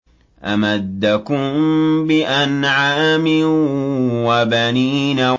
أَمَدَّكُم بِأَنْعَامٍ وَبَنِينَ